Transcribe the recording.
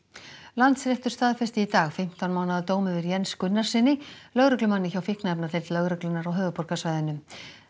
Landsréttur staðfesti í dag fimmtán mánaða dóm yfir Jens Gunnarssyni lögreglumanni hjá fíkniefnadeild lögreglunnar á höfuðborgarsvæðinu